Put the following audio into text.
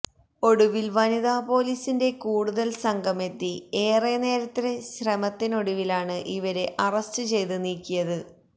ഒടുവില് വനിതാ പൊലീസിന്റെ കൂടുതല് സംഘമെത്തി ഏറെ നേരത്തെ ശ്രമത്തിനൊടുവിലാണ് ഇവരെ അറസ്റ്റ് ചെയ്ത് നീക്കിയത്